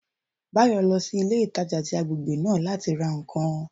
Báyò lọ sí ilé ìtajà tí agbègbè náà láti ra ǹkan